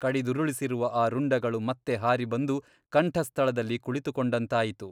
ಕಡಿದುರುಳಿಸಿರುವ ಆ ರುಂಡಗಳು ಮತ್ತೆ ಹಾರಿ ಬಂದು ಕಂಠಸ್ಥಳದಲ್ಲಿ ಕುಳಿತುಕೊಂಡಂತಾಯಿತು.